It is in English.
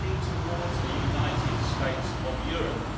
They are heading towards a United States of Europe.